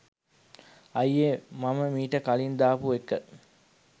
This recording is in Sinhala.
අයියේ මම මීට කලින් දාපු එක